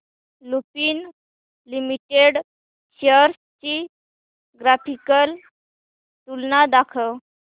Lupin limited shares ची graphical तुलना दाखव